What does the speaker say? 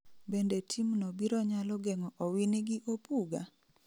Bende team no biro nyalo geng'o Owini gi Opuga?